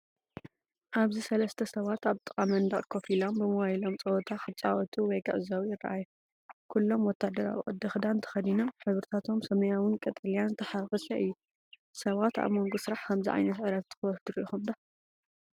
ኣብዚ ሰለስተ ሰባት ኣብ ጥቓ መንደቕ ኮፍ ኢሎም፡ ብሞባይሎም ጸወታ ክጻወቱ ወይ ክዕዘቡ ይረኣዩ። ኩሎም ወተሃደራዊ ቅዲ ክዳን ተኸዲኖም፤ ሕብርታቶም ሰማያውን ቀጠልያን ዝተሓዋወሰ እዩ። ሰባት ኣብ መንጎ ስራሕ ከምዚ ዓይነት ዕረፍቲ ክወስዱ ርኢኹም ዶ?